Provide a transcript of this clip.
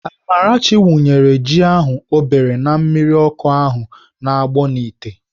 Amarachi wụnyere ji ahụ o bere na mmiri ọkụ ahụ na-agbọ n'ite.